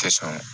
Tɛ sɔn